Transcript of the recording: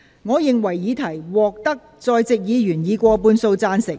我認為議題獲得在席議員以過半數贊成。